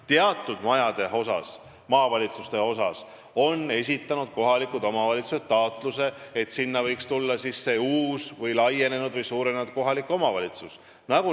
Teatud maavalitsuste majade puhul on kohalikud omavalitsused esitanud taotluse, et need võiks minna uutele, suurenenud kohalikele omavalitsustele.